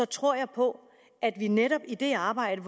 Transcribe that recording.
tror jeg på at vi netop i det arbejde